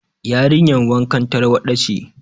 Yarinyar wankan tarwaɗa ce.